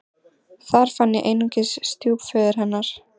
Þar fann ég einungis stjúpföður hennar.